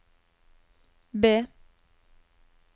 B